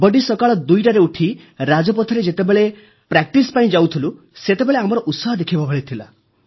ବଡ଼ିସକାଳ 2ଟାରେ ଉଠି ରାଜପଥରେ ଯେତେବେଳେ ଅଭ୍ୟାସ ପାଇଁ ଯାଉଥିଲୁ ସେତେବେଳେ ଆମର ଉତ୍ସାହ ଦେଖିବା ଭଳି ଥିଲା